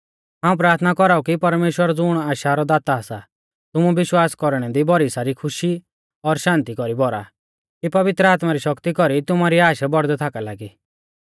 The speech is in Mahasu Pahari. हाऊं प्राथना कौराऊ कि परमेश्‍वर ज़ुण आशा रौ दाता सा तुमु विश्वास कौरणै दी भौरी सारी खुशी और शान्ति कौरी भौरा कि पवित्र आत्मा री शक्ति कौरी तुमारी आश बौड़दै थाका लागी